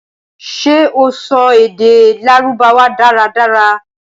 ṣé o sọ èdè Lárúbáwá dára dára?